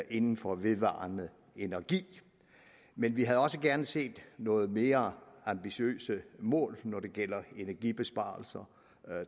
inden for vedvarende energi men vi havde også gerne set nogle mere ambitiøse mål når det gælder energibesparelser